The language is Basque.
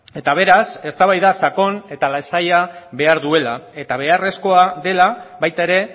eta beraz eztabaida sakon eta lasaia behar duela eta beharrezkoa dela baita ere